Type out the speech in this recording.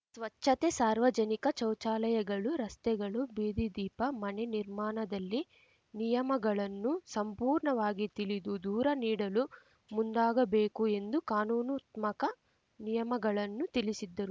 ಸ್ವಚ್ಛತೆ ಸಾರ್ವಜನಿಕ ಚೌಚಾಲಯಗಳು ರಸ್ತೆಗಳು ಬೀದಿ ದೀಪ ಮನೆ ನಿರ್ಮಾಣದಲ್ಲಿ ನಿಯಮಗಳನ್ನು ಸಂಪೂರ್ಣವಾಗಿ ತಿಳಿದು ದೂರ ನೀಡಲು ಮುಂದಾಗಬೇಕು ಎಂದು ಕಾನೂನುತ್ಮಕ ನಿಯಮಗಳನ್ನು ತಿಳಿಸಿದ್ದರು